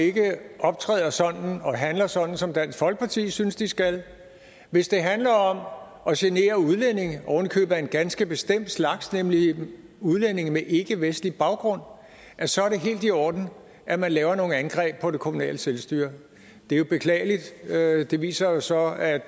ikke optræder sådan og handler sådan som dansk folkeparti synes de skal altså hvis det handler om at genere udlændinge oven i købet af en ganske bestemt slags nemlig udlændinge med ikkevestlig baggrund så er det helt i orden at lave nogle angreb på det kommunale selvstyre det er jo beklageligt og det viser så at